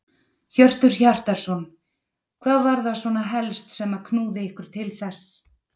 Hjörtur Hjartarson: Hvað var það svona helst sem að knúði ykkur til þess?